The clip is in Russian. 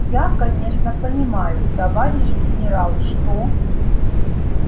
я конечно понимаю товарищ генерал что